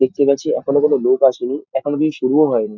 দেখতে পাচ্ছি এখনো কোনো লোক আসেনি এখনো কিছু শুরুও হয়নি।